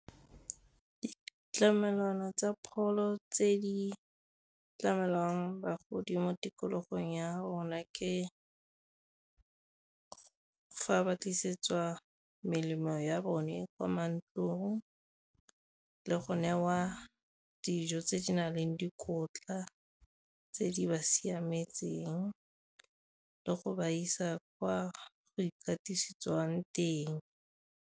Ditlamelwana tsa pholo tse di tlamelang bagodi mo tikologong ya bona ke fa ba tlisetsiwa melemo ya bone kwa mantlong le go newa dijo tse di na leng dikotla tse di ba siametseng le go ba isa kwa go ikatisetsiwang teng.